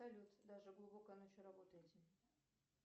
салют даже глубокой ночью работаете